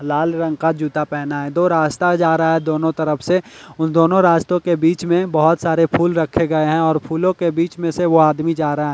लाल रंग का जूता पहना है दो रास्ता जा रहा है दोनों तरफ से उन दोनों रास्तों के बीच में बोहोत सारे फूल रखे गए हैं और फूलों के बीच में से वो आदमी जा रहा है।